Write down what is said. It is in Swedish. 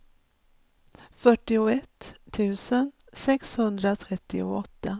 fyrtioett tusen sexhundratrettioåtta